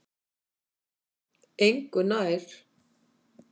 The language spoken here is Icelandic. Engu nær